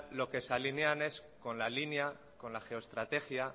lo que se alinean es con la línea con la geoestrategia